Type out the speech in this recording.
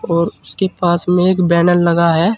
और उसके पास में एक बैनर लगा है।